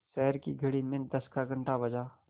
शहर की घड़ी में दस का घण्टा बजा